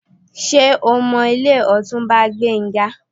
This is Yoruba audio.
Ṣé o mọ ilé Ọ̀túnba Gbénga?